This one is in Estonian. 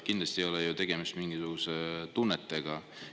Kindlasti ei ole tegemist mingisuguste tunnetega.